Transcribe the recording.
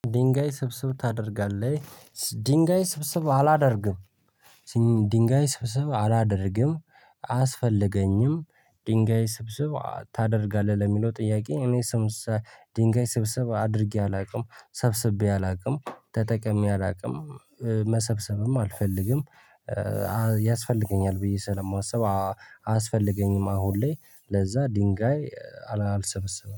ድንጋይ ስብስብ ታደርጋለህ? ድንጋይ ስብስብ አላደርግም ድንጋይ ስብስብ አላደርግም አያስፈልገኝም ድንጋይ ስብስብ ታደርጋለህ ለሚለው ጥያቄ እኔ ድንጋይ ስብስብ አድርጌ አላውቅም ሰብስቤ አላውቅም ተጠቅሜ አላውቅም መሰብሰብም አልፈልግም ያስፈልገኛል ብዬ ስለማስብ አያስፈልገኝም አሁን ላይ ለዛ ድንጋይ አልሰበስብም።